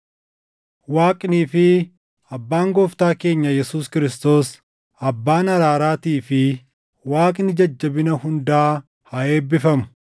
Waaqnii fi Abbaan Gooftaa keenya Yesuus Kiristoos, Abbaan araaraatii fi Waaqni jajjabina hundaa haa eebbifamu;